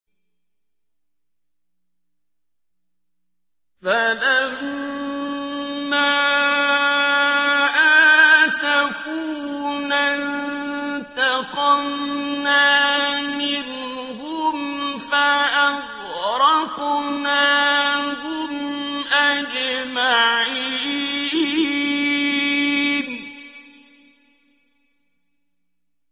فَلَمَّا آسَفُونَا انتَقَمْنَا مِنْهُمْ فَأَغْرَقْنَاهُمْ أَجْمَعِينَ